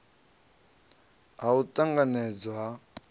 ha u t anganedzwa ha